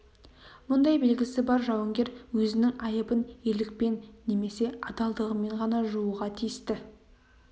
мұндай белгісі бар жауынгер өзінің айыбын ерлікпен немесе адалдығымен ғана жууға тиісті